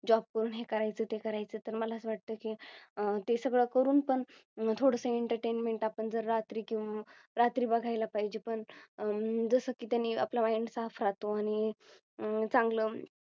Job करून हे करायचे ते करायचं तर मला असं वाटतं की अह ते सगळं करून पण थोडस Entertainment आपण जर रात्री रात्री बघायला पाहिजे पण हम्म जसं की त्यांनी आपला Mind साफ राहतो आणि अह चांगलं